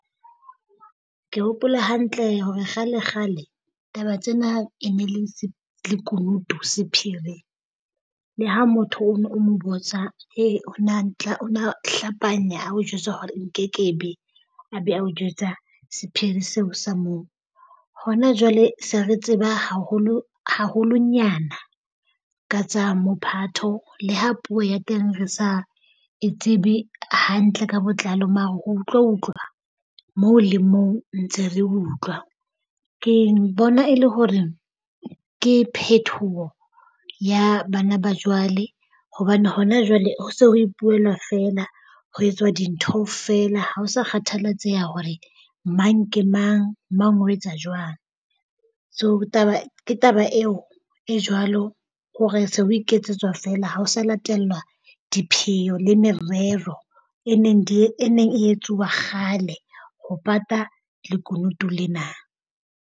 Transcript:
Ke hopola hantle hore kgale kgale taba tsena e ne e le lekunutu sephiri. Le ha motho o no o mo botsa o na tla o na hlapanya a o jwetsa hore nke ke be a o jwetsa sephiri seo se moo. Hona jwale se re tseba haholo haholonyana ka tsa mophatho le ha puo ya teng re sa e tsebe hantle ka botlalo mara ho utlwa utlwa moo le moo ntse re utlwa. Ke bona e le hore ke phethoho ya bana ba jwale hobane hona jwale ho so ho ipuelwa feela. Ho etswa dintho feela. Ha o sa kgathalatseha hore mang ke mang, mang o etsa jwang. So taba ke taba eo e jwalo hore se ho iketsetswa feela ha ho sa latellwa dipheo le merero e neng e neng e etsuwa kgale ho pata lekunutu lena.